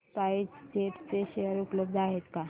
spice jet share शेअर उपलब्ध आहेत का